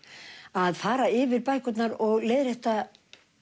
að fara yfir bækurnar og leiðrétta